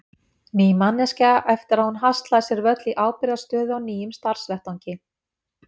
Ný manneskja eftir að hún haslaði sér völl í ábyrgðarstöðu á nýjum starfsvettvangi.